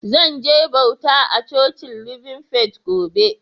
Zan je bauta a Cocin Living Faith gobe.